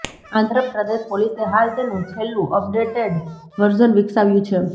આંધ્રપ્રદેશ પોલીસે હાલ તેનું છેલ્લું અપડેટેડ વર્ઝન વિકસાવ્યું છે